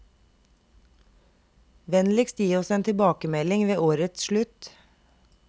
Vennligst gi oss en tilbakemelding ved årets slutt.